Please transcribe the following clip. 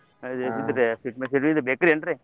ಹಾ .